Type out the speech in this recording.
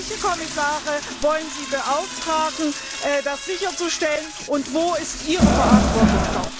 Welche Kommissare wollen Sie beauftragen, das sicherzustellen, und wo ist dort Ihre Verantwortung?